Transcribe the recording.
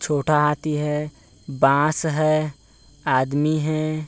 छोटा हाथी है बांस है आदमी है।